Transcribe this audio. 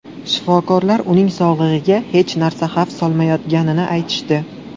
Shifokorlar uning sog‘lig‘iga hech narsa xavf solmayotganini aytishdi.